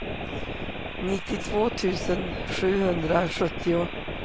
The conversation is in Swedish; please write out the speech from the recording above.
nittiotvå tusen sjuhundrasjuttio